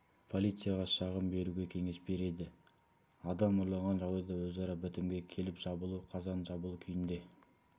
полицияға шағым беруге кеңес береді адам ұрланған жағдайда өзара бітімге келіп жабулы қазанды жабулы күйінде